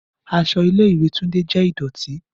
Aṣọ ile-iwe Tunde jẹ idọti.